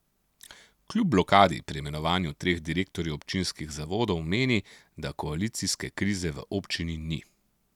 Kljub blokadi pri imenovanju treh direktorjev občinskih zavodov meni, da koalicijske krize v občini ni.